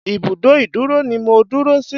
Ìbùdó ìdúró ni mo dúró sí.